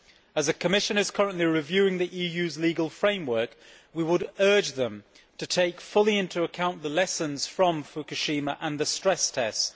As the Commission is currently reviewing the EU's legal framework, we would urge it to take fully into account the lessons from Fukushima and the stress tests